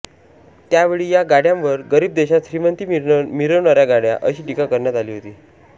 त्यावेळी या गाडयांवर गरीब देशात श्रीमंती मिरवणाऱ्या गाड्या अशी टीका करण्यात आली होती